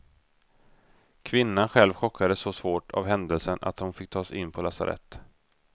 Kvinnan själv chockades så svårt av händelsen att hon fick tas in på lasarett.